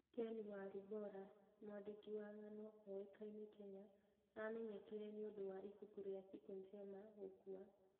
Ken Walibora: mwandĩki wa ng'ano ũĩkaine Kenya amenyekire nĩũndũ wa ibuku ria Siku Njema gũkua.